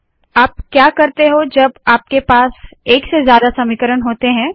आप क्या करते हो जब आपके पास एक से ज्यादा समीकरण होते है